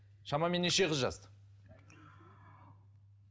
шамамен неше қыз жазды